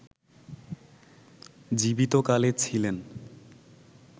জীবিত কালে ছিলেন